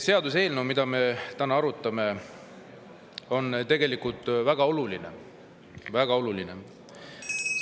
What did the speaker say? Seaduseelnõu, mida me täna arutame, on tegelikult väga oluline, väga oluline!